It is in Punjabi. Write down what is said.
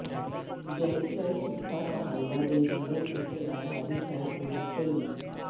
ਗੈਂਗਸਟਰ ਸੁੱਖਾ ਕਹਾਲਵਾਂ ਦੇ ਜੀਨਵ ਉੱਤੇ ਅਧਾਰਿਤ ਹੈ ਪੂਰੀ ਫਿਲਮ